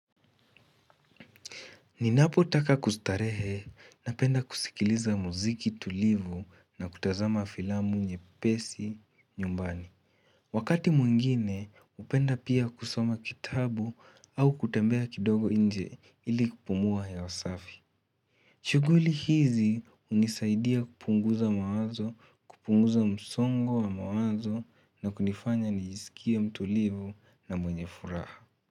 Ninapo taka kustarehe na penda kusikiliza muziki tulivu na kutazama filamu nyepesi nyumbani. Wakati mwingine hupenda pia kusoma kitabu au kutembea kidogo nje ili kupumuwa hewa safi. Shughuli hizi hunisaidia kupunguza mawazo, kupunguza msongo wa mawazo na kunifanya nijisikie mtulivu na mwenye furaha.